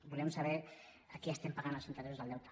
volem saber a qui paguem els interessos del deute